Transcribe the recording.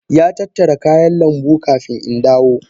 Ya tattara kayan lambu kafin in dawo.